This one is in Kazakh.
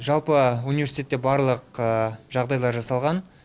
жалпы университетте барлық жағдайлар жасалған